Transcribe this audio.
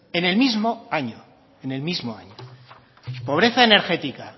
en el mismo año en el mismo año pobreza energética